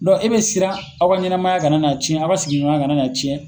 e be siran aw ka ɲɛnamaya ka na na ciɲɛ, aw ka sigiɲɔgɔn ya kana na ciɲɛ.